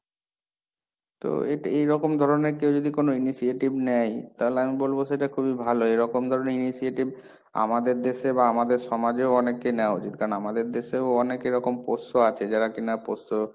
তো এটা এইরকম ধরনের কেউ যদি কোন initiative নেয়, তাহলে আমি বলবো সেটা খুবই ভালো এরকম ধরনের initiative আমাদের দেশে বা আমাদের সমাজেও অনেককে নেওয়া উচিত, কারণ আমাদের দেশেও অনেক এরকম পোষ্য আছে, যারা কিনা পোষ্য,